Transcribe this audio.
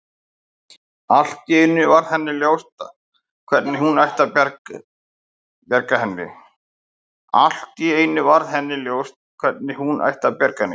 Allt í einu varð henni ljóst hvernig hún ætti að bjarga henni.